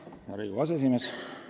Hea Riigikogu aseesimees!